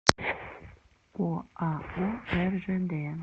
оао ржд